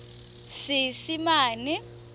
seesimane